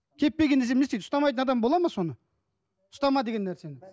кеппеген десем не істейді ұстамайтын адам бола ма соны ұстама деген нәрсені